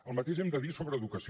el mateix hem de dir sobre educació